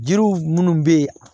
Jiriw minnu bɛ yen